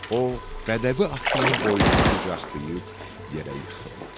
O bədəvi atının boynunu qucaqlayıb yerə yıxıldı.